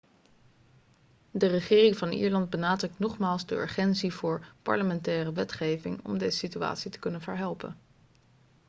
de regering van ierland benadrukt nogmaals de urgentie voor parlementaire wetgeving om deze situatie te kunnen verhelpen